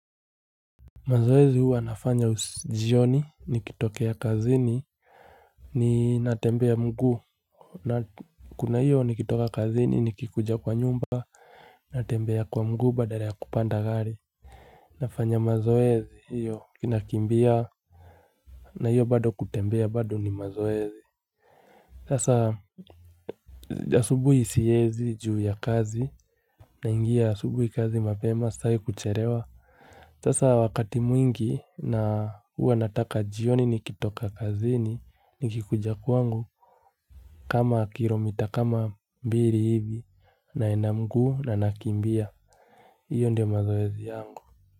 Mazoezi hua nafanya ujioni nikitokea kazini ni natembea mgu na kuna hiyo nikitoka kazini nikikuja kwa nyumba natembea kwa mguu badala ya kupanda gari nafanya mazoezi hiyo kinakimbia na hiyo bado kutembea bado ni mazoezi sasa ya subuhi siyezi juu ya kazi na ingia subuhi kazi mapema sae kucherewa Tasa wakati mwingi na huwa nataka jioni ni kitoka kazini ni kikuja kuangu kama kiro mita kama mbili hibi na ina mgu na nakimbia. Iyo ndio mazoezia yangu.